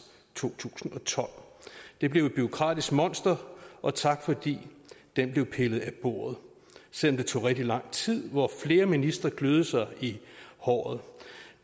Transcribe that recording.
to tusind og tolv det blev et bureaukratisk monster og tak fordi den blev pillet af bordet selv om det tog rigtig lang tid hvor flere ministre kløede sig i håret